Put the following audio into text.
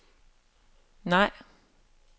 nej